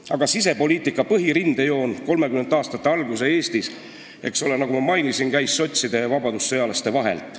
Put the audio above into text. " Aga sisepoliitika põhirindejoon 1930. aastate alguse Eestis, nagu ma mainisin, jooksis sotside ja vabadussõjalaste vahelt.